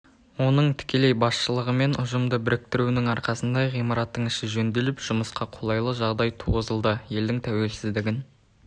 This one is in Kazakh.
оның тікелей басшылығымен ұжымды біріктіруінің арқасында ғимараттың іші жөнделіп жұмысқа қолайлы жағдай туғызылды елдің тәуелсіздігін